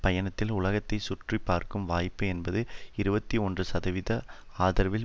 பயணித்தல் உலகத்தைச் சுற்றிப்பார்க்கும் வாய்ப்பு என்பது இருபத்தி ஒன்று சதவிகித ஆதரவில்